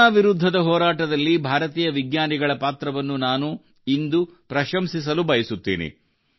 corona ವಿರುದ್ಧದ ಹೋರಾಟದಲ್ಲಿ ಭಾರತೀಯ ವಿಜ್ಞಾನಿಗಳ ಪಾತ್ರವನ್ನು ನಾನು ಇಂದು ಪ್ರಶಂಸಿಸಲು ಬಯಸುತ್ತೇನೆ